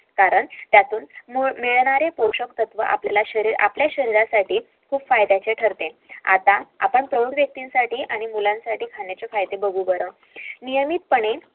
कारण त्यातून मिळणारे पोषण तत्व आपल्या शहरीरसाठी खूप फायद्याचे ठरते